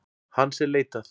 Hans er leitað.